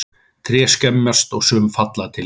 Tré skemmast og sum falla til jarðar.